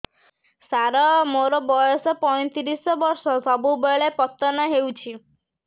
ସାର ମୋର ବୟସ ପୈତିରିଶ ବର୍ଷ ସବୁବେଳେ ପତନ ହେଉଛି